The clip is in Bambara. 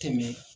Tɛmɛ